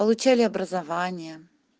получали образование